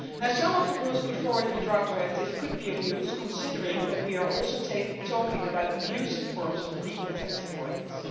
Some of the rules put forward in the draft directive could be of use, considering that we are also talking about abusive forms of legal tax avoidance.